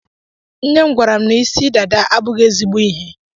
Nnem gwara m na ịsị dada abụghị ezigbo ihe.